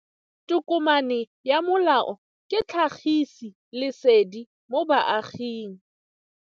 Tokomane ya molao ke tlhagisi lesedi go baagi.